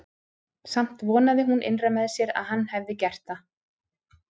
Samt vonaði hún innra með sér að hann hefði gert það.